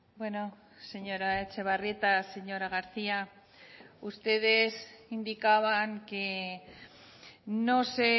bueno señora etxebarrieta señora garcía ustedes indicaban que no se